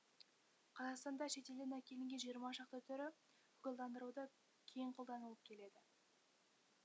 қазақстанда шет елден әкелінген жиырма шақты түрі көгалдандыруда кең қолданылып келеді